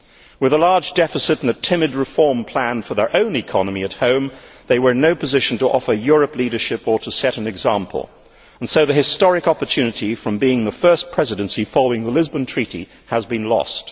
With a large deficit and a timid reform plan for their own economy at home, they were in no position to offer Europe leadership or to set an example, and so the historic opportunity from being the first Presidency following the Lisbon Treaty has been lost.